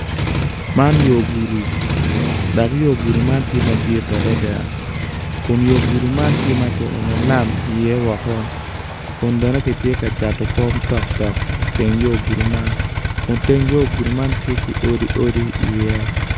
Man yo gudo dok yo gudo man tye madit adada kun yo gudo man tye ma kionyo lam iye woko kun bene kitye ka cato kom tok tok iteng yo gudo man kun teng yo gudo man tye ki odi odi iye.